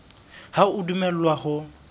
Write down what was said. ha o a dumellwa ho